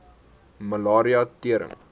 malaria tering